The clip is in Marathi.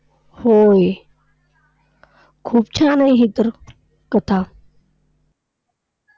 होय. खूप छान आहे ही तर कथा!